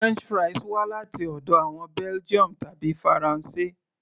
french fries wá láti ọ̀dọ̀ àwọn Belgium tàbí faransé